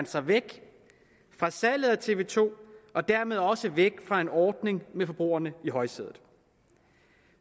sig væk fra salget af tv to og dermed også væk fra en ordning med forbrugerne i højsædet